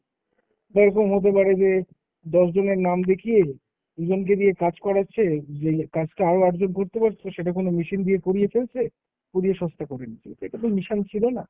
বা এরকম হতে পারে যে দশজনের নাম দেখিয়ে দু'জনকে দিয়ে কাজ করাচ্ছে। যেই কাজটা আরও আটজন করতে পারতো সেটা কোনো machine দিয়ে করিয়ে ফেলছে, করিয়ে সস্তা করে নিচ্ছে। এটা তো mission ছিল না।